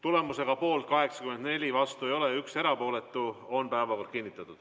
Tulemusega poolt 84, vastu ei ole keegi ja 1 erapooletu on päevakord kinnitatud.